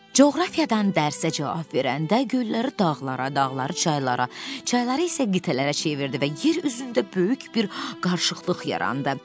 Coğrafiyadan dərsə cavab verəndə gölləri dağlara, dağları çaylara, çayları isə qitələrə çevirdi və yer üzündə böyük bir qarışıqlıq yarandı.